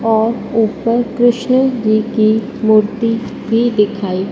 और ऊपर कृष्ण जी की मूर्ति भी दिखाई--